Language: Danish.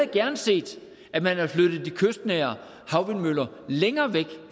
gerne set at man havde flyttet de kystnære havvindmøller længere væk